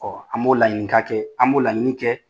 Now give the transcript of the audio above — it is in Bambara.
an b'o laɲinika kɛ, an b'o laɲini kɛ.